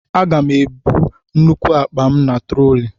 Aga m ebu nnukwu akpa m na troli